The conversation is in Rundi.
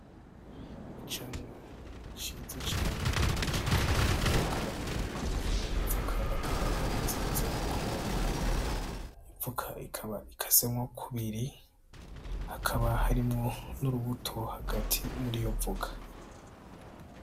Icamwa ciza cane citwa ivoka ivoka akaba ari nziza kumubiri ivoka ikaba ikasemwo kubiri hakaba harimwo n'urubuto hagati muri yo voka.